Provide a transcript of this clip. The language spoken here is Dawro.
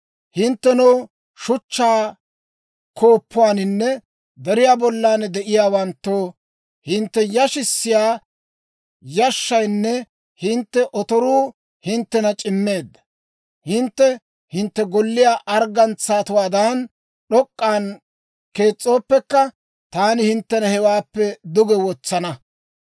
Hinttenoo, shuchchaa gonggoluwaaninne deriyaa bollan de'iyaawanttoo, hintte yashissiyaa yashshaynne hintte otoruu hinttena c'immeedda. Hintte hintte golliyaa arggantsawaadan d'ok'k'an kees's'ooppekka, taani hinttena hewaappekka duge wotsana.